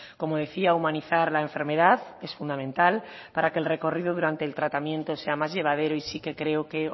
como decía humanizar la enfermedad es fundamental para que el recorrido durante el tratamiento sea más llevadero y sí que creo que